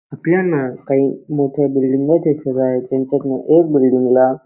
आपल्याना काही मोठ्या बिल्डिंग दिसत आहे त्यांच्यातन एक बिल्डिंगला --